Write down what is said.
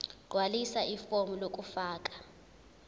gqwalisa ifomu lokufaka